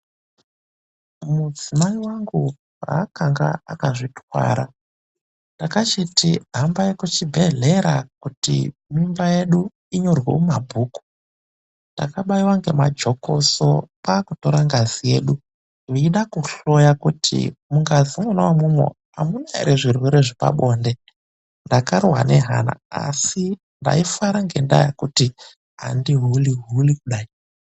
Mudzimai wangu paakange akazvitakura ndakenda naye kuchibhedhlera kuti akwanise kunyorwa mubhuku kuti akazvitakura .Vakabaira majekiseni ndokutorazve ngazi vachida kutotorosa kuti hamuna here zvitenda zvepabonde .